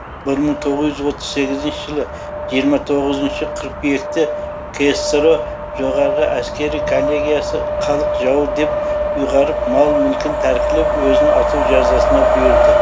бір мың тоғыз жүз отыз сегізінші жылы жиырма тоғызыншы қыркүйекте ксро жоғары әскери коллегиясы халық жауы деп ұйғарып мал мүлкін тәркілеп өзін ату жазасына бұйырды